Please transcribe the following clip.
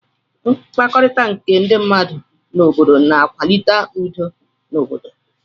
mkpakọrita nke ndi mmadu na obodo na adi akwalite udo n'obodo.